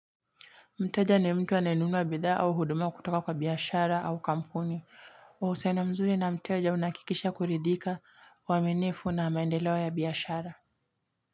Mteja ni mtu anaenunua bidhaa au hudumua kutoka kwa biashara au kampuni. Mahusiano mzuri na mteja unaakikisha kuridhika uaminifu na maendeleo ya biashara.